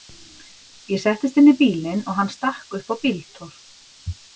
Ég settist inn í bílinn og hann stakk upp á bíltúr.